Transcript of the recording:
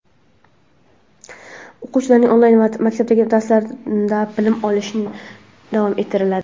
o‘quvchilarning onlayn yoki maktabdagi darslarda bilim olishi davom ettiriladi.